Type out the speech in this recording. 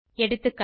எகா